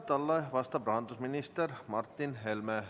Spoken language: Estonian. Talle vastab rahandusminister Martin Helme.